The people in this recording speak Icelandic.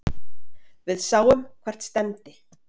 Við sáum hvert stefndi.